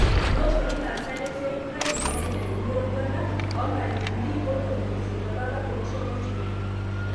Itooshoki ilasaak lesiai fain peiyany edumu eroruata 180,000 tolapa tolosho le chaina